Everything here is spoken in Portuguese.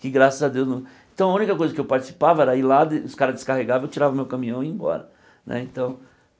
Que graças a Deus não... Então a única coisa que eu participava era ir lá, os caras descarregavam, eu tirava o meu caminhão e ia embora né então.